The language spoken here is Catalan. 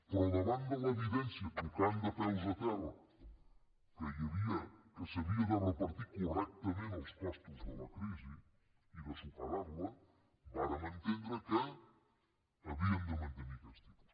però davant de l’evidència tocant de peus a terra que s’havien de repartir correctament els costos de la crisi i de superar la vàrem entendre que havíem de mantenir aquests tipus